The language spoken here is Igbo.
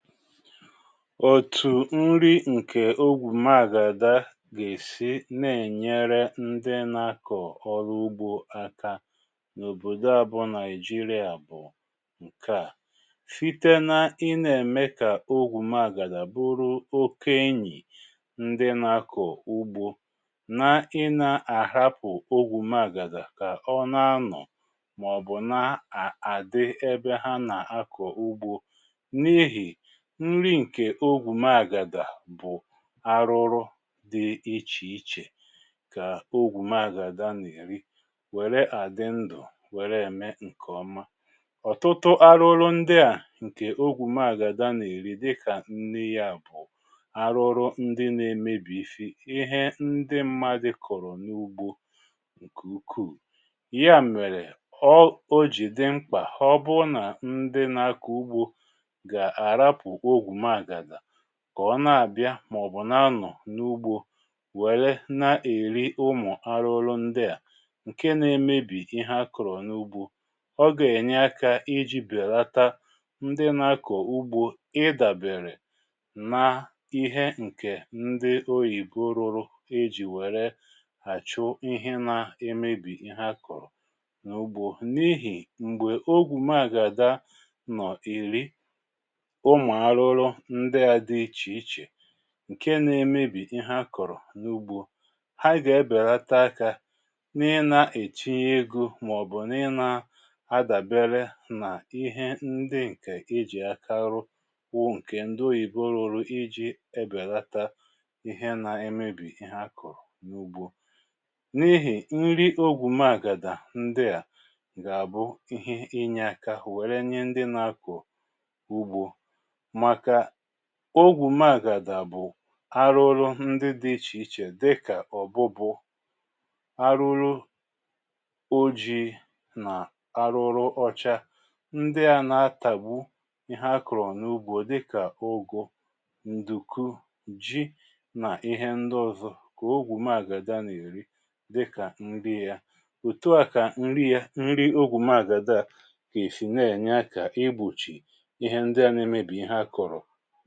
Otù nri ǹkè ogwùmàgàla gà-èsi nà-ènyere ndị nà-akọ̀ ọrụ ugbȯ aka n’òbòdo à bụ Nigeria bụ̀ ǹke à: site na ị na ème kà ogwùmàgàla bụrụ oke enyì ndị nà-akọ̀ ugbȯ nà i nà-àhapụ̀ ogwùmagàla kà ọ nà-anọ̀ mà ọ̀ bụ̀ nà à dị ebe ha nà-akọ̀ ugbȯ. N’ihi nri ǹkè ogwùmagàlà bụ̀ ahụhụ dị ichè ichè kà ogwùmàgàlà n’eri wère àdị ndụ̀, wère ème ǹkè ọma. Ọtụtụ ahụhụ ndị à ǹkè ogwùmàgàlà n’eri dịkà nri yȧ bụ̀ ahụhụ ndị na-emebisi ihe ndị mmadụ̀ kọ̀rọ̀ n’ugbȯ ǹkè ukwuù. Ya mèrè ọ o jì dị mkpà ọ bụrụ nà ndị nà-akọ ugbȯ ga a hapụ ogwumagala kà ọ na-àbị a mà ọ bụ̀ na nọ̀ n’ugbȯ wère na-èri ụmụ̀ ahụhụ ndị à ǹke na-emebì ihe a kọrọ n’ugbȯ. Ọ gà-ènye akȧ iji̇ bèlata ndị na-akọ̀ ugbȯ ị dàbèrè na ihe ǹkè ndị oyìbo rụrụ iji̇ wère àchụ ihe na-emebì ihe akọrọ n’ugbȯ n’ihì m̀gbè ogwùmagàla nọ̀ èri ụmụ ahụhụ ndị a dị iche iche ǹke nȧ-emebì ihe akọ̀rọ̀ n’ugbȯ, ha gà-ebèlata akȧ n’ị nȧ-ètiṅyė egȯ mà ọ̀ bụ̀ n’ị nȧ-adàbere nà ihe ndị ǹkè e jì aka rụọ bụ ǹkè ndị oyibo rụrụ iji̇ ebèlata ihe nȧ-emebì ihe akọ̀rọ̀ n’ugbȯ. N’ihì nri ogwùmȧgàlà ndị à gà-àbụ ihe inyė aka wère nye ndị nȧ-akọ̀ ugbȯ maka ogwùmagàlà bù ahụhụ ndị dị ichè ichè dịkà ọ̀bụbụ, ahụhụ ojii̇ nà ahụhụ ọcha ndị à na-atàgbu ihe akọrọ n’ugbȯ dịkà ụgụ, ndùku, ji nà ihe ndị ọ̀zọ kà ogwùmagàlà nà-èri dịkà ǹri yȧ. Otu à kà ǹri yȧ ǹri ogwùmagàlà g’esi na-ènye akà igbochì ihe ndị a n’emebi ihe a kọrọ.